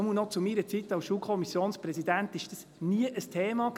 Jedenfalls war dies noch zu meiner Zeit als Schulkommissionspräsident nie ein Thema.